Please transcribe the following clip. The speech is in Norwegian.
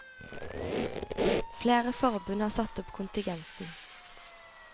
Flere forbund har satt opp kontingenten.